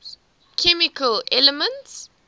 chemical elements